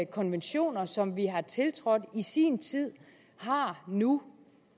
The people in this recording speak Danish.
konventioner som vi har tiltrådt i sin tid har nu